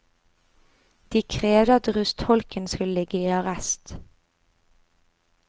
De krevde at rustholken skulle ligge i arrest.